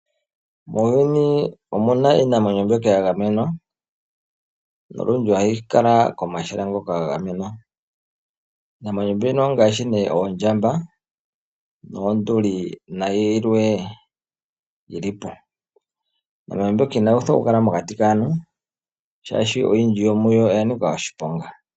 Muuyuni omuna iinamwenyo mbyoka ya gamenwa nolundji ohayi kala komahala ngoka ga gamenwa. Iinamwenyo mbyono ongaashi nee oondjamba noonduli nayilwe yili po. Iinamwenyo mbyoka inayi uthwa okukala mokati kaantu shaashi oyindji yomuyo oya nika oshiponga.